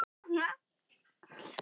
Félagi hans tók á sig rögg og bætti við